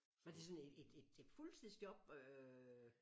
Var det sådan et et et et fuldtidsjob øh?